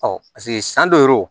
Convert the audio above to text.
paseke san dɔ re don